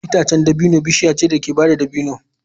Itacen dabino bishiya ce da ke bada dabino.